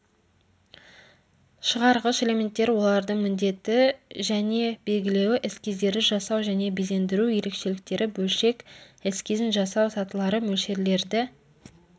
шығарғыш элементтер олардың міндеті және белгілеуі эскиздерді жасау және безендіру ерекшеліктері бөлшек эскизін жасау сатылары мөлшерлерді